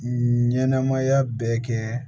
Ɲɛnɛmaya bɛɛ kɛ